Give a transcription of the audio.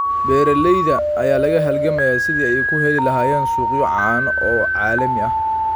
Beeralayda ayaa la halgamaya sidii ay u heli lahaayeen suuqyo caano oo caalami ah.